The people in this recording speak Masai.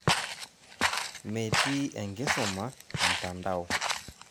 Metii enkisuma mtandao